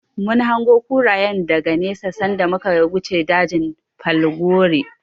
Mun hango kurayen daga nesa sanda muka wuce dajin falgore.